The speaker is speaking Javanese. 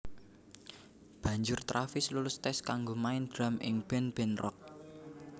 Banjur Travis lulus tes kanggo main drum ing band band rock